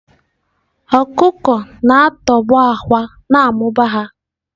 Ọkụkọ na-atọgbọ àkwá na-amụba ha.